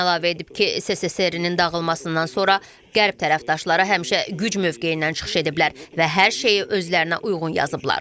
Putin əlavə edib ki, SSRİ-nin dağılmasından sonra Qərb tərəfdaşları həmişə güc mövqeyindən çıxış ediblər və hər şeyi özlərinə uyğun yazıblar.